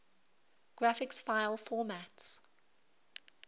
graphics file formats